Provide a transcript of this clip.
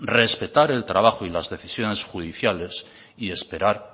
respetar el trabajo y las decisiones judiciales y esperar